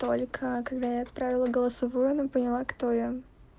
только когда я отправила голосовое но поняла кто я